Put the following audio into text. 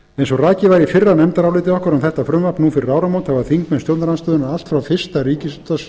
eins og rakið var í fyrra nefndaráliti okkar um þetta frumvarp nú fyrir áramót hafa þingmenn stjórnarandstöðunnar allt